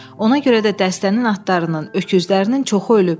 Ona görə də dəstənin atlarının, öküzlərinin çoxu ölüb.